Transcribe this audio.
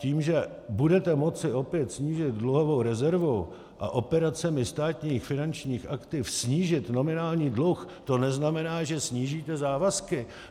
Tím, že budete moci opět snížit dluhovou rezervu a operacemi státních finančních aktiv snížit nominální dluh, to neznamená, že snížíte závazky.